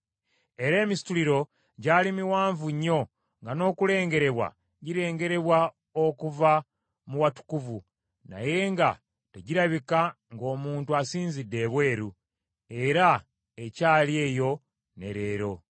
Era emisituliro gyali miwanvu nnyo nga n’okulengerebwa girengerebwa okuva mu watukuvu, naye nga tegirabika ng’omuntu asinzidde ebweru; era ekyali eyo ne leero.